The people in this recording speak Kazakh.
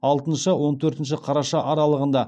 алтыншы он төртінші қараша аралығында